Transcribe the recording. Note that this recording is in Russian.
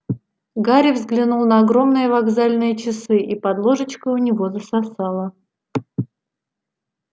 гарри взглянул на огромные вокзальные часы и под ложечкой у него засосало